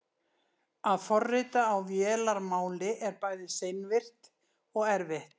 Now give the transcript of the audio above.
að forrita á vélarmáli er bæði seinvirkt og erfitt